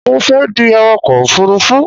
Mo fẹ́ di awakọ̀ òfurufú